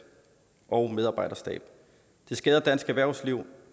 og medarbejderstab det skader dansk erhvervsliv